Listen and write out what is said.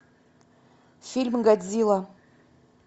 фильм годзилла